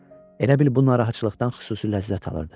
Elə bil bu narahatçılıqdan xüsusi ləzzət alırdı.